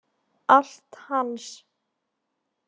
Allt hans.